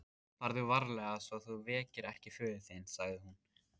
Farðu varlega svo þú vekir ekki föður þinn, sagði hún.